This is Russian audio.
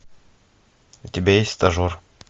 у тебя есть стажер